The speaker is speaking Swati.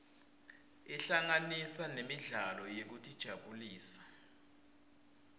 ahlanganisa nemidlalo yekutijabulisa